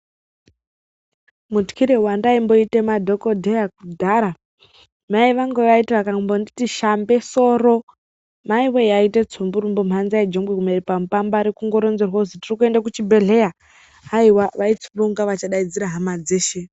Mutyire wandaimboite madhokodheya kudhara mai vangu vaiti vakambonditi shambe soro maiwe yaiite tsumburumbu mhanza yejongwe kumere pamupambare kungoronzerwe kuzi tiri kuende kuchibhedhlera haiwa vaitsumbe kunge vachadaidza hama dzeshe.